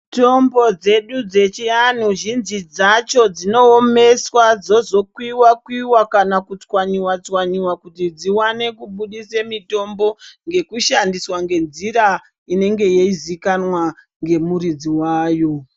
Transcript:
Mitombo dzedu dzechi anhu zhinji dzacho dzino omeswa dzozo kuyiwa kana ku tswanyiwa tswanyiwa kuti dziwane kubudisa mitombo yekushandiswa ne nzira inenge ichi zivikanwa ne muridzi wayo.